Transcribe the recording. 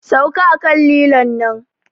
Sauka a kan lilon nan!